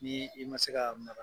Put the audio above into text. Ni i ma se ka